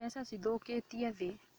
Mbeca cithũkĩtie thĩ